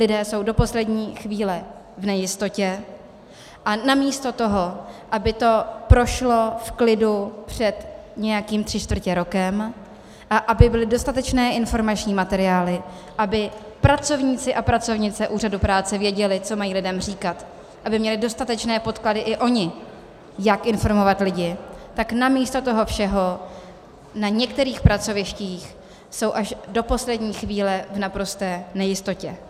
Lidé jsou do poslední chvíle v nejistotě a namísto toho, aby to prošlo v klidu před nějakým tři čtvrtě rokem a aby byly dostatečné informační materiály, aby pracovníci a pracovnice úřadu práce věděli, co mají lidem říkat, aby měli dostatečné podklady i oni, jak informovat lidi, tak namísto toho všeho na některých pracovištích jsou až do poslední chvíle v naprosté nejistotě.